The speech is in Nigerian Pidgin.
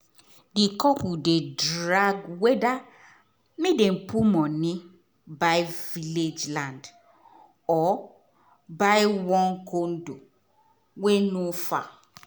di couple dey drag whether make dem put money buy village land or buy one condo wey no far.